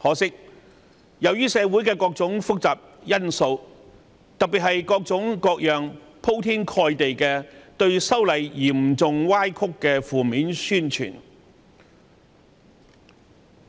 可惜，社會上各種複雜因素，特別是各種鋪天蓋地並嚴重歪曲修例工作的負面宣傳，